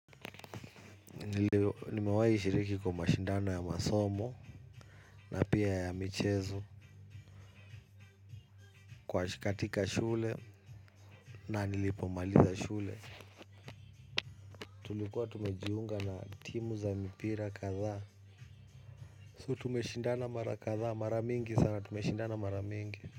Nimewahishiriki kwa mashindano ya masomo na pia ya michezo kwa katika shule na nilipo maliza shule. Tulikuwa tumejiunga na timu za mipira kadhaa. So tumeshindana mara kadhaa, mara mingi sana, tumeshindana mara mingi.